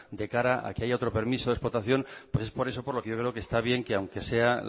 de cara a que haya otro permiso de explotación pues es por eso por lo que yo creo que está bien que aunque sea